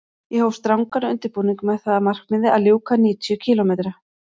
Ég hóf strangan undirbúning með það að markmiði að ljúka níutíu kílómetra